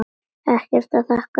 Ekkert að þakka, segi ég.